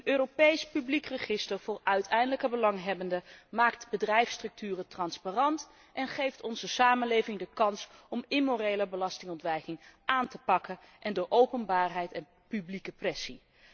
Een Europees publiek register voor uiteindelijke belanghebbenden maakt bedrijfsstructuren transparant en geeft onze samenleving de kans om immorele belastingontwijking aan te pakken in door openbaarheid en publieke pressie.